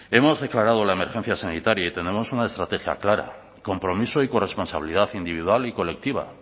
hemos declarado la emergencia sanitaria y tenemos una estrategia clara compromiso y corresponsabilidad individual y colectiva